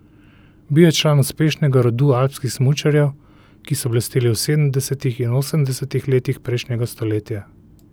Bil je član uspešnega rodu alpskih smučarjev, ki so blesteli v sedemdesetih in osemdesetih letih prejšnjega stoletja.